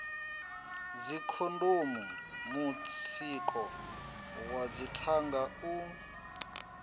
dzikhondomu mutsiko wa dzithanga u